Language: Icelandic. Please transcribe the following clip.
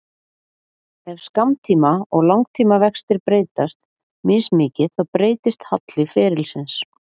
Ef skammtíma- og langtímavextir breytast mismikið þá breytist halli ferilsins.